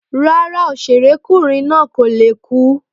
Rárá òṣèré kunrin na ko le ku.